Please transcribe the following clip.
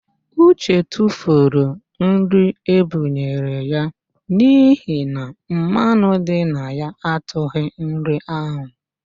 Uche tufuru nri e bunyere ya n'ihi na mmanụ dị na ya atụghị nri ahụ